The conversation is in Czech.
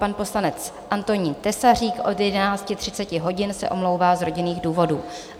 Pan poslanec Antonín Tesařík od 11.30 hodin se omlouvá z rodinných důvodů.